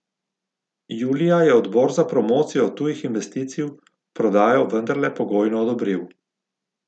Julija je odbor za promocijo tujih investicij prodajo vendarle pogojno odobril.